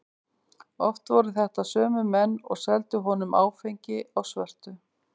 Oft voru þetta sömu menn og seldu honum áfengi á svörtu.